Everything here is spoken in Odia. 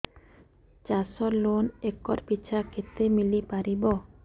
ଚାଷ ଲୋନ୍ ଏକର୍ ପିଛା କେତେ ମିଳି ପାରିବ